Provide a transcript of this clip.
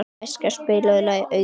Eskja, spilaðu lagið „Auður“.